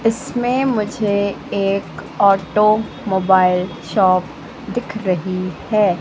इसमें मुझे एक ऑटोमोबाइल शॉप दिख रही हैं।